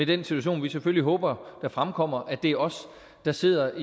den situation vi selvfølgelig håber der fremkommer nemlig at det er os der sidder